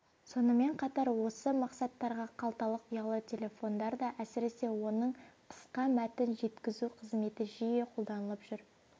сонымен қатар осы мақсаттарға қалталық ұялы телефондар да әсіресе оның қысқа мәтін жеткізу қызметі жиі қолданылып жүр